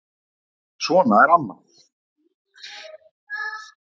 Svona er amma.